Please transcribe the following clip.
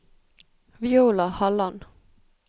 Viola Halland